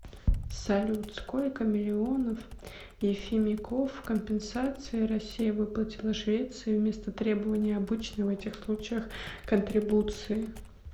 салют сколько миллионов ефимиков компенсации россия выплатила швеции вместо требования обычной в этих случаях контрибуции